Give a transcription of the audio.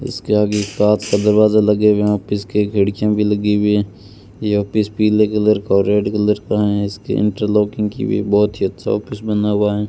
इसके आगे एक कांच का दरवाजा लगे हुए हैं ऑफिस के खिड़कियां भी लगी हुई हैं यह ऑफिस पीले कलर का और रेड कलर का है इसके इंटरलॉकिंग की हुई है बहुत ही अच्छा ऑफिस बना हुआ है।